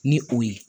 Ni o ye